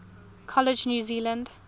college new zealand